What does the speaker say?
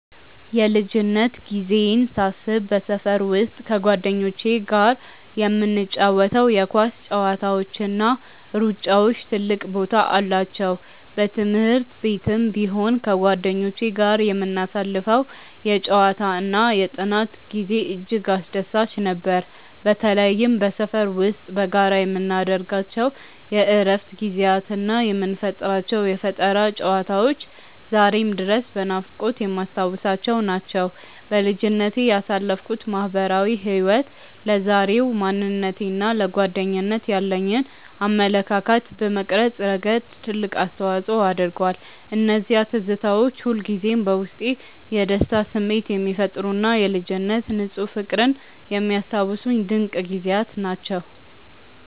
የልጅነት ጊዜዬን ሳስብ በሰፈር ውስጥ ከጓደኞቼ ጋር የምንጫወታቸው የኳስ ጨዋታዎችና ሩጫዎች ትልቅ ቦታ አላቸው። በትምህርት ቤትም ቢሆን ከጓደኞቼ ጋር የምናሳልፈው የጨዋታና የጥናት ጊዜ እጅግ አስደሳች ነበር። በተለይም በሰፈር ውስጥ በጋራ የምናደርጋቸው የእረፍት ጊዜያትና የምንፈጥራቸው የፈጠራ ጨዋታዎች ዛሬም ድረስ በናፍቆት የማስታውሳቸው ናቸው። በልጅነቴ ያሳለፍኩት ማህበራዊ ህይወት ለዛሬው ማንነቴና ለጓደኝነት ያለኝን አመለካከት በመቅረጽ ረገድ ትልቅ አስተዋጽኦ አድርጓል። እነዚያ ትዝታዎች ሁልጊዜም በውስጤ የደስታ ስሜት የሚፈጥሩና የልጅነት ንፁህ ፍቅርን የሚያስታውሱኝ ድንቅ ጊዜያት ናቸው።